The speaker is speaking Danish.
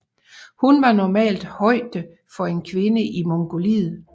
Hun har normal højde for en kvinde i Mongoliet